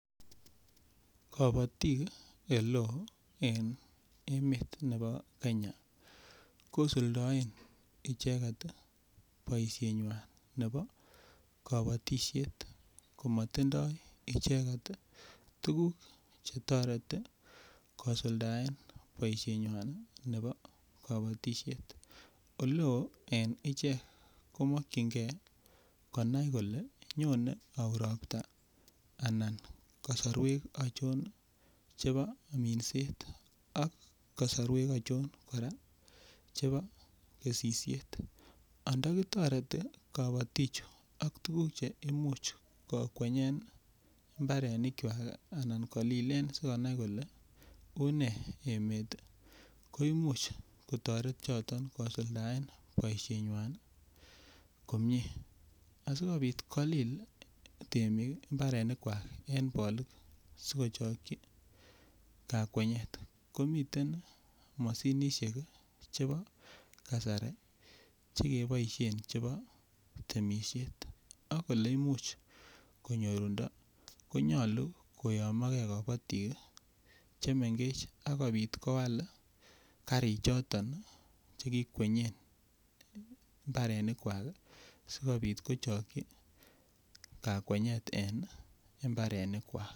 Kobotik ele en emet nebo kenya kosuldoen icheget boishenywan nebo kobotishet komo tindo icheget ii tuguk che toreti kosuldaen boishenywan nebo kobotishet. Ole oo en ichek komokyin gee konai kolee nyone ouu ropta anan kosorwek achon chebo minset ak kosorwek achon koraa chebo kesisyet, anto kitoreti kobotichu ak tuguk che imuch kokwenyen mbarenikwak ana kolilen asi konai kole unee ko i imuch kotoret Choton kosuldaen boishenywan komie. Asikopit kolil temik mbarenkwak en bolik ko sikochokyi kakwenyet ko miten Moshinishek chebo kasari che keboishen chebo temishet ak kole imuch konyorundo konyoluu koyomogee kobotik ii chemengech akopit koal karik choton che kikwenyen imbarenikwak sikopit kochokyi kakwenyet en mbarenkwak